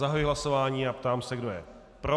Zahajuji hlasování a ptám se, kdo je pro.